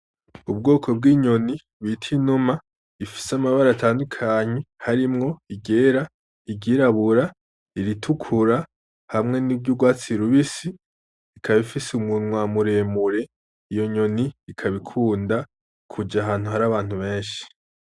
Ubwoko bw'inyoni bita inuma ,ifise amabara atandukanye harimwo: iryera, iryirabura , iritukura, hamwe n'iryurwatsi rubisi ,ikaba ifise umunwa muremure ,iyo nyoni ikaba ikunda kuja ahantu har'abantu benshi.